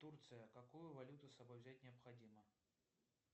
турция какую валюту с собой взять необходимо